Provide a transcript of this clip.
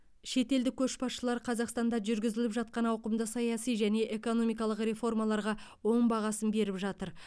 шетелдік көшбасшылар қазақстанда жүргізіліп жатқан ауқымды саяси және экономикалық реформаларға оң бағасын беріп жатыр